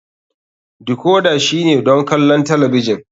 Decorder shine don kallon talabijin.